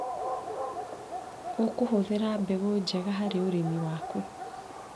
ũkũhũthĩra mbegũ njega harĩ ũrĩmi waku.